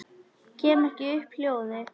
Kem ekki upp hljóði.